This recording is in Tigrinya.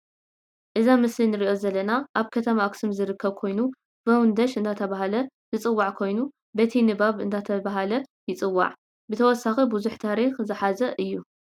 አብዚ ምሰሊ ንርኦ ዘለና አብ ከተማ አክሱም ዝርከብ ኮይኑ ቨውንደሽ እዳተባሃለ ዝፅዋዒ ኮይኑ በቲንባብ እዳተባሃለ ይፅዋዕ ብተወሳኪ ቡዝሕ ታሪኪ ዘሓዘ እዩ።